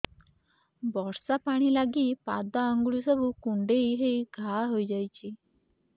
ବର୍ଷା ପାଣି ଲାଗି ପାଦ ଅଙ୍ଗୁଳି ସବୁ କୁଣ୍ଡେଇ ହେଇ ଘା ହୋଇଯାଉଛି